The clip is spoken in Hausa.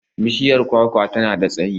Bishiyar kwakwa ta na da tsayi.